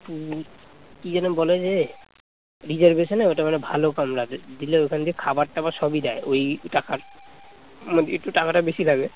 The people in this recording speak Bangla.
reservation এ ওটা মানে ভালো কামরা আছে দিলে ওখান থেকে খাবার টাবার সবই দেয় ওই টাকার মানে টাকাটা একটু বেশি লাগে